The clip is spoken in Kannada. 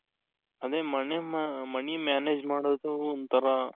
ಅಂದ್ರೆ money manage ಮಾಡೋದು ಒಂತರ